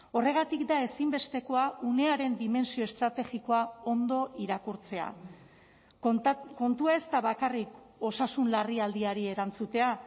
horregatik da ezinbestekoa unearen dimentsio estrategikoa ondo irakurtzea kontua ez da bakarrik osasun larrialdiari erantzutea